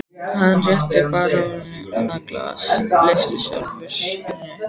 Hann rétti baróninum annað glasið, lyfti sjálfur hinu.